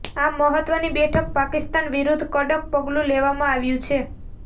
આ મહત્વની બેઠકમાં પાકિસ્તાન વિરુદ્ધ કડક પગલું લેવામાં આવ્યું છે